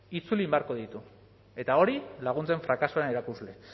itzuli egin beharko ditu eta hori laguntzen frakasoaren erakusle